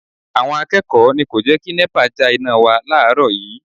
Àwọn akẹ́kọ̀ọ́ ni kò jẹ́ kí Nepa já iná wa láàárọ̀ yii